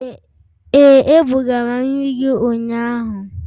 Ee, ebugara nri gị ụnyahụ.